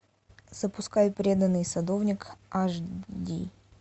запускай преданный садовник аш ди